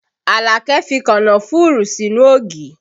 Alake fi kànnáfùrù sínú ògì